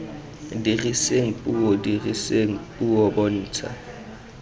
diriseng puo diriseng puo bontsha